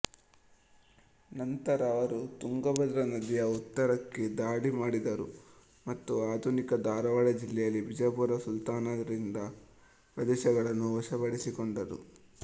ನಂತರ ಅವರು ತುಂಗಭದ್ರಾ ನದಿಯ ಉತ್ತರಕ್ಕೆ ದಾಳಿ ಮಾಡಿದರು ಮತ್ತು ಆಧುನಿಕ ಧಾರವಾಡ ಜಿಲ್ಲೆಯಲ್ಲಿ ಬಿಜಾಪುರ ಸುಲ್ತಾನರಿಂದ ಪ್ರದೇಶವನ್ನು ವಶಪಡಿಸಿಕೊಂಡರು